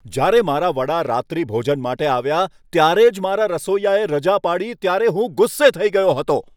જ્યારે મારા વડા રાત્રિભોજન માટે આવ્યા ત્યારે જ મારા રસોઈયાએ રજા પાડી ત્યારે હું ગુસ્સે થઈ ગયો હતો.